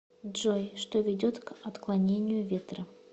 джой что ведет к отклонению ветра